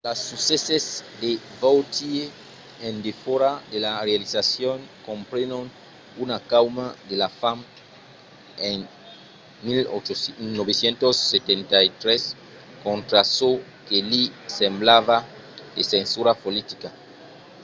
las succèsses de vautier en defòra de la realizacion comprenon una cauma de la fam en 1973 contra çò que li semblava de censura politica